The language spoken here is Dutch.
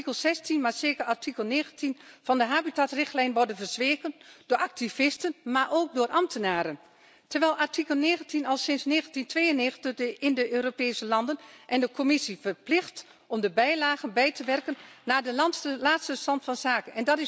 Artikel 16, maar zeker artikel 19 van de habitatrichtlijn worden verzwegen door activisten, maar ook door ambtenaren, terwijl artikel 19 al sinds 1992 de Europese landen en de Commissie verplicht om de bijlagen bij te werken naar de laatste stand van zaken.